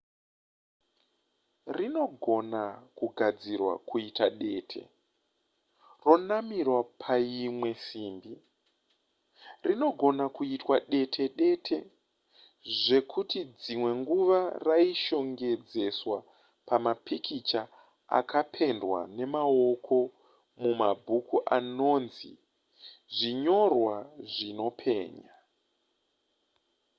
rinogona kugadzirwa kuita dete ronamirwa paimwe simbi rinogona kuitwa dete dete zvekuti dzimwe nguva raishongedzeswa mapikicha akapendwa nemaoko mumabhuku anonzi zvinyorwa zvinopenya